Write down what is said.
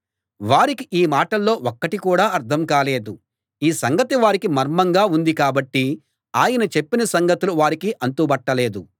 వారికి ఈ మాటల్లో ఒక్కటి కూడా అర్థం కాలేదు ఈ సంగతి వారికి మర్మంగా ఉంది కాబట్టి ఆయన చెప్పిన సంగతులు వారికి అంతు బట్టలేదు